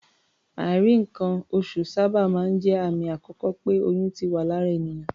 Àìrí nǹkan-oṣù sábà máa ń jẹ́ àmì àkọ́kọ́ pé oyún ti wà lára ènìyàn.